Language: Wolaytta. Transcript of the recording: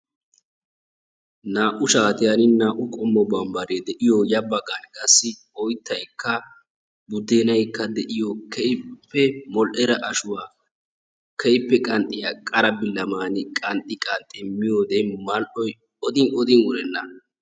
Naa"u shaatiyaan naa"u qommo barbbaree de'iyoo ya baggan qassi oyttaykka buudennaykka de'iyoo keehippe modhdhida ashshuwaa keehippe qanxxiyaa qara billaamani qanxxi qanxxi miyooode mal"oy oodin oodinkka wurenna.